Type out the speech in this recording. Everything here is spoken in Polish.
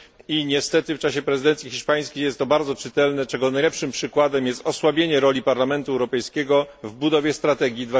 I niestety w czasie prezydencji hiszpańskiej było to bardzo czytelne, czego najlepszym przykładem jest osłabienie roli Parlamentu Europejskiego w budowie strategii